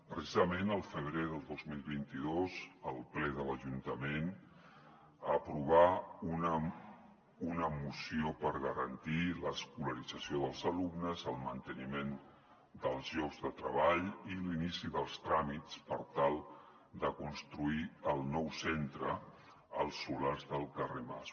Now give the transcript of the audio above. precisament el febrer del dos mil vint dos el ple de l’ajuntament aprovà una moció per garantir l’escolarització dels alumnes el manteniment dels llocs de treball i l’inici dels tràmits per tal de construir el nou centre als solars del carrer mas